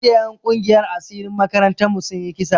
Jiya en kungiyan asirin makarantan mu sun yi kisa